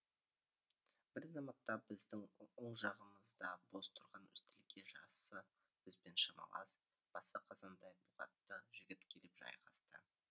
бір заматта біздің оң жағымызда бос тұрған үстелге жасы бізбен шамалас басы қазандай бұғақты жігіт келіп жайғасты